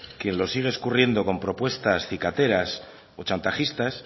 quien lo sigue escurriendo con propuestas cicateras o chantajistas